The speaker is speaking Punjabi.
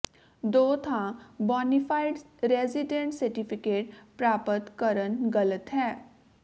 ਦੋ ਥਾਂ ਬੋਨਾਫਾਈਡ ਰੈਜ਼ੀਡੈਂਟ ਸਰਟੀਫਿਕੇਟ ਪ੍ਰਾਪਤ ਕਰਨ ਗ਼ਲਤ ਹੈ